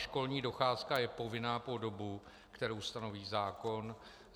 Školní docházka je povinná po dobu, kterou stanoví zákon.